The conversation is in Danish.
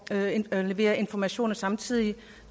at levere informationer samtidig